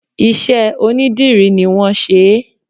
Ìṣe onidírì ni wọn ṣe é.